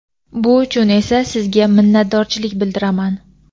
Bu uchun esa sizga minnatdorchilik bildiraman!.